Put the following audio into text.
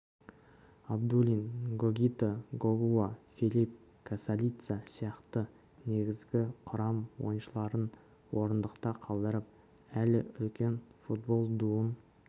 абдулин гогита гогуа филипп касалица сияқты негізгі құрам ойыншыларын орындықта қалдырып әлі үлкен футбол дуын